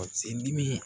Sen dimi